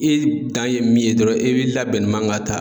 E dan ye min ye dɔrɔn e b'i labɛn ne man ka ta.